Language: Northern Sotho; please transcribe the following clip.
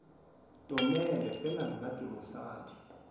tomele fela nna ke mosadi